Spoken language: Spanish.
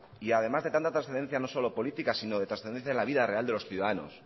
y además de tanta trascendencia no solo política sino de trascendencia en la vida real de los ciudadanos